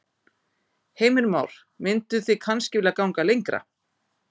Heimir Már: Mynduð þið kannski vilja ganga lengra?